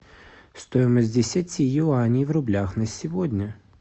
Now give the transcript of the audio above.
стоимость десяти юаней в рублях на сегодня